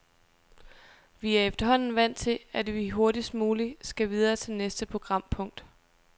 Vi er efterhånden vant til, at vi hurtigst muligt skal videre til næste programpunkt.